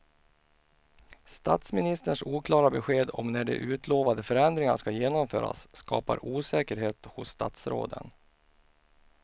Statsministerns oklara besked om när de utlovade förändringarna ska genomföras skapar osäkerhet hos statsråden.